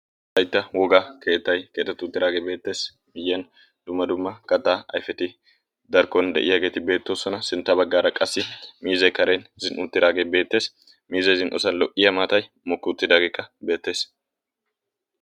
wolaytta woga keettay keetatu uttidaagee beettees miyyiyan dumma dumma kattaa ayfeti darkkon de'iyaageeti beettoosona sintta baggaara qassi miizee karen zin''u utiraagee beettees miizee zin''osan lo''ya maatay mokki uttidaageekka beettees